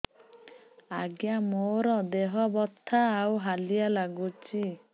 ଆଜ୍ଞା ମୋର ଦେହ ବଥା ଆଉ ହାଲିଆ ଲାଗୁଚି